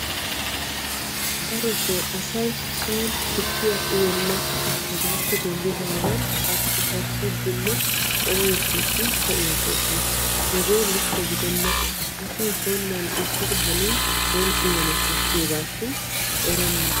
darotoo asay son tukkiya uyenna hegaappe denddidaagan karssikarssiiddinne oyettiiddi pe'iyaaggoosona. hegee likke gidenna asay son mal'ettidi hanin son uyana koshshiyoogaashin erenna.